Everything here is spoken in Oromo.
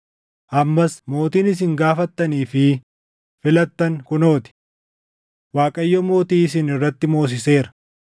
Ammas mootiin isin gaafattanii fi filattan kunoo ti! Waaqayyo mootii isin irratti moosiseera.